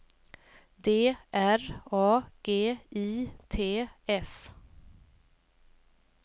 D R A G I T S